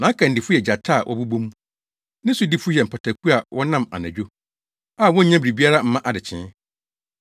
Nʼakannifo yɛ gyata a wɔbobɔ mu, ne sodifo yɛ mpataku a wɔnam anadwo, a wonnya biribiara mma adekyee.